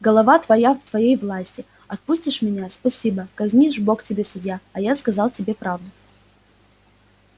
голова твоя в твоей власти отпустишь меня спасибо казнишь бог тебе судья а я сказал тебе правду